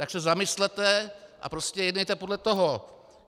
Tak se zamyslete a prostě jednejte podle toho.